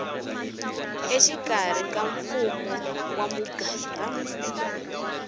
exikarhi ka mfumo wa muganga